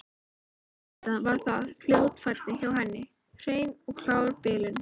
Auðvitað var þetta fljótfærni hjá henni, hrein og klár bilun.